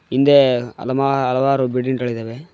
ಹಿಂದೆ ಅಲಮ ಹಲವಾರು ಬಿಲ್ಡಿಂಗ್ ಗಳಿದವೆ.